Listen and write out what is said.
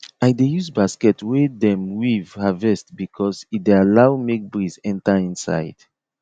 i dey use basket wey dem weave harvest because e dey allow make breeze enter inside